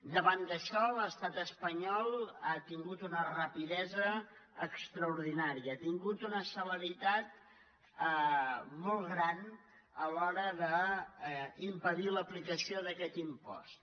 davant d’això l’estat espanyol ha tingut una rapidesa extraordinària ha tingut una celeritat molt gran a l’hora d’impedir l’aplicació d’aquest impost